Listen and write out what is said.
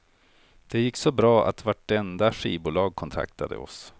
Det gick så bra att vartenda skivbolag kontaktade oss.